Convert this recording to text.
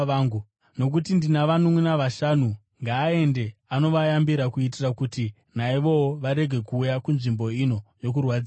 nokuti ndina vanunʼuna vashanu. Ngaaende anovayambira, kuitira kuti naivowo varege kuuya kunzvimbo ino yokurwadziwa.’